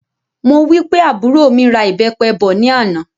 Mo wí pé àbúrò mí ra ìbépe bọ̀ ní àná